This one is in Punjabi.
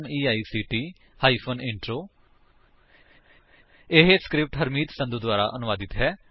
spoken tutorialorgnmeict ਇੰਟਰੋ ਇਹ ਸਕਰਿਪਟ ਹਰਮੀਤ ਸੰਧੂ ਦੁਆਰਾ ਅਨੁਵਾਦਿਤ ਹੈ